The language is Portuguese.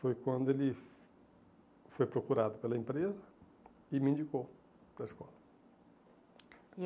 Foi quando ele foi procurado pela empresa e me indicou para a escola.